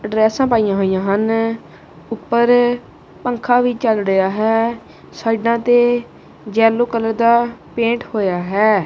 ਡਰੈੱਸਾਂ ਪਈਆਂ ਹੋਈਆਂ ਹਨ ਉਪਰ ਪੰਖਾ ਵੀ ਚੱਲ ਰਿਹਾ ਹੈ ਸਾਇਡਾਂ ਤੇ ਯੇਲੌ ਕਲਰ ਦਾ ਪੇਂਟ ਹੋਏਆ ਹੈ।